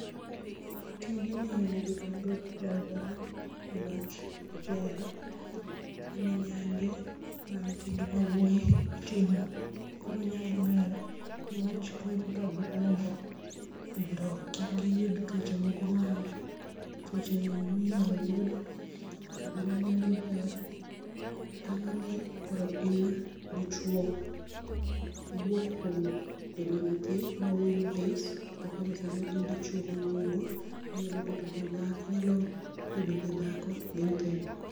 Tijni nigi nengo e aluora niwach ober, en nyange mar nyithindo ma yawuoyi, itimo, koro nyange ber niwach konyo ka gidongo mondo kik giyud tuoche moko ma tuoche minyalo yud tobende nyange ber tang'oni, in koro in dichuo, iwuok kuom bedo nyathi ma wuoyi matis to koro in dichuo mang'ongo inyalo bedo gi dhako gi nyithindo